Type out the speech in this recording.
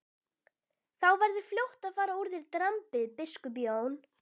Þá verður fljótt að fara úr þér drambið, biskup Jón!